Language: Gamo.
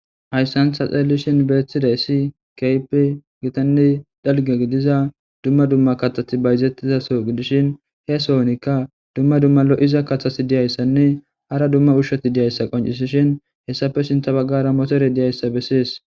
Hayssan ta xeellishin beeththidasi keype gitanni dalge gidiza dumma dumma katati bayzettizaso gidishin he sohonikka dumma dumma lo7iza kathasi diyayssanne hara dumma ushshoti diyayssa qoncisishin hessafe sinta baggara motore diyayssa bessees.